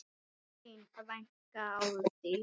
Þín frænka Árdís.